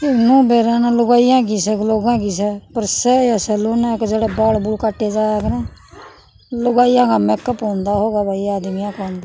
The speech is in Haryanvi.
यू बेरा ना लुगाइयां की स क लोगों की स पर स या सेलून अक जड़ह बाल बूल काटे जाया करहं लुगाइयां का मैक अप होंदा होगा भाई आदमीयां का होंदा --